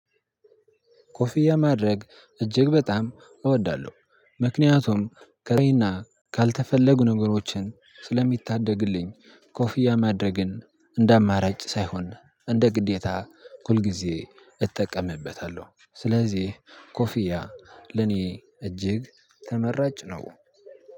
ኮፍያ ማድረግ እጅግ በጣም እወዳለሁ ምክንያቱም ከፀሀይ እና ካልተፈለጉ ነገሮችን ስለሚታደግልኝ ኮፍያ ማድረግን እንደ አማራጭ ሳይሆን እንደ ግዴታ ሁልጊዜ እጠቀምበታለሁ። ስለዚህ ኮፊያ ለኔ እጅግ ተመራጭ ነው።